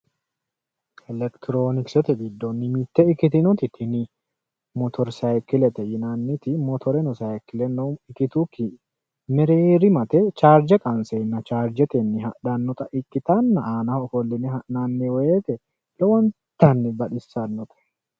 Elektirooniksete giddonni mitte ikkitinoti tini motori saayikkilete yinanniti motoreno sayikkileno ikkitukki mereerimate chaarje qanseenna chaarjetenni hadhannota ikkitanna aanaho ofolline ha'nanni woyite lowontanni baxissannote.